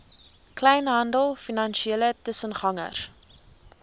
kleinhandel finansiële tussengangers